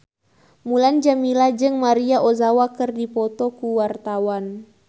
Mulan Jameela jeung Maria Ozawa keur dipoto ku wartawan